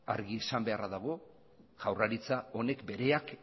argi esan beharra dago jaurlaritza honek bereak